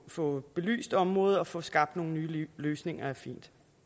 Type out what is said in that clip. få belyst området og få skabt nogle nye løsninger er fin